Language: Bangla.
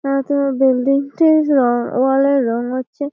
তাছাড়া বিল্ডিং টির উম ওয়াল এর রং হচ্ছে --